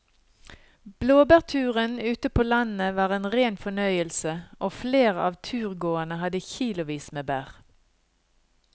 Blåbærturen ute på landet var en rein fornøyelse og flere av turgåerene hadde kilosvis med bær.